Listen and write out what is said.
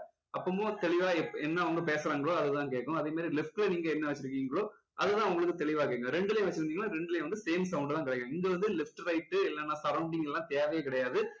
அப்பவும் தெளிவா என்ன அவங்க பேசுறாங்களோ அது தான் கேக்கும் அதே மாதிரி left ல நீங்க என்ன வச்சுருக்கீங்களோ அது தான் உங்களுக்கு தெளிவா கேக்கும் ரெண்டுலயும் வச்சுருந்தீங்கன்னா ரெண்டுலேயும் வந்து same sound தான் கிடைக்கும் இங்க வந்து left right இல்லன்னா surrounding லாம் தேவையே கிடையாது